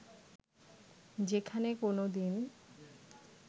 যেখানে কোনোদিন